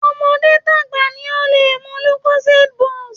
Tọmọdé tàgbà ni ó lè mu Lucosade boost